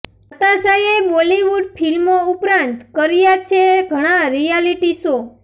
નતાશાએ બોલીવૂડ ફિલ્મો ઉપરાંત કર્યા છે ઘણા રીયાલીટી શો